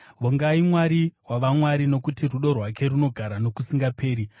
Vongai Mwari wavamwari: Nokuti rudo rwake runogara nokusingaperi.